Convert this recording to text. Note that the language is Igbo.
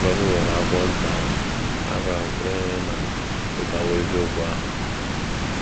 Mgbe m gụrụ akwụkwọ nta ahụ, abịara m kwenye na m achọtawo eziokwu ahụ.